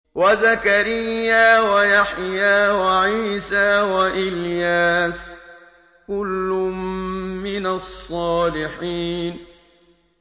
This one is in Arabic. وَزَكَرِيَّا وَيَحْيَىٰ وَعِيسَىٰ وَإِلْيَاسَ ۖ كُلٌّ مِّنَ الصَّالِحِينَ